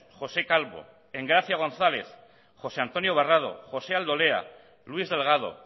josé calvo engracia gonzález josé antonio barrado josé aldolea luis delgado